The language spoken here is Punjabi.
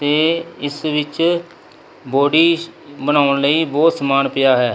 ਤੇ ਇਸ ਵਿੱਚ ਬੋਡੀ ਬਣਾਉਣ ਲਈ ਬਹੁਤ ਸਮਾਨ ਪਿਆ ਹੈ।